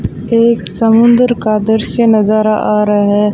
एक समुंदर का दृश्य नजारा आ रहा है।